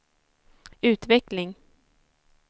utveckling